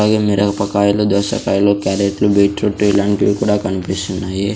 I మిరపకాయలు దోసకాయలు క్యారెట్లు బీట్రూట్లు ఇలాంటివి కూడా కన్పిస్తున్నాయి.